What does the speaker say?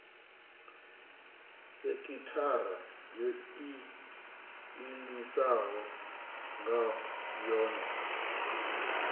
sekithara yo iimisaho nga yohe